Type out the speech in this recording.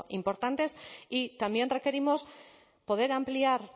importantes y también requerimos poder ampliar